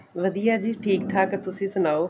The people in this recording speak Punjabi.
ਵਧੀਆ ਏ ਜੀ ਠੀਕ ਠਾਕ ਤੁਸੀਂ ਸੁਨਾਓ